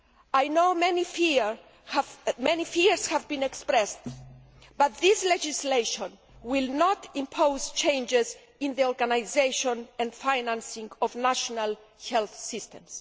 I know many fears have been expressed, but this legislation will not impose changes in the organisation and financing of national health systems.